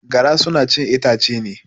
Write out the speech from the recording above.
Gara suna chin itace ne.